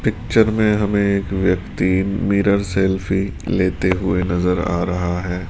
Picture में हमें एक व्यक्ति मिरर सेल्फी लेते हुए नजर आरहा है।